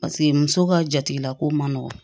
Paseke muso ka jatigilako man nɔgɔn